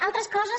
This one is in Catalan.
altres coses